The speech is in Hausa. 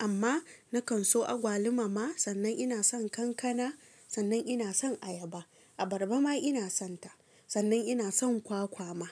Amma nakan so agwaluma ma, sannan ina son kankana, sannan ina son ayaba, abarba ma ina son ta, sannan ina son kwakwa ma.